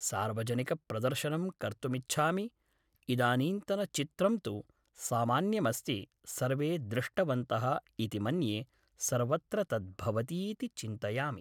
सार्वजनिकप्रदर्शनं कर्तुमिच्छामि इदानींतन चित्रं तु सामान्यमस्ति सर्वे दृष्टवन्तः इति मन्ये सर्वत्र तत् भवतीति चिन्तयामि